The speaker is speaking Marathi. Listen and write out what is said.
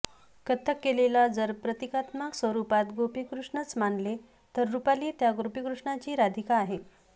कथ्थक कलेला जर प्रतिकात्मक स्वरूपात गोपी कृष्णच मानले तर रूपाली त्या गोपीकृष्णाची राधिका आहे